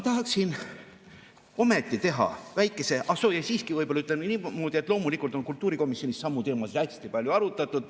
Ah soo, ja siiski ütlen niimoodi, et loomulikult on kultuurikomisjonis samu teemasid hästi palju arutatud.